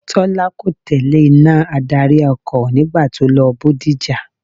Tọ́lá kò tẹ̀lé iná adarí ọkọ̀ nígbà tí ó lọ Bódìjà.